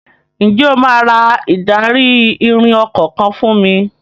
Ǹjẹ́ o máa ra ìdarí-ìrìn ọkọ̀ kan fún mi?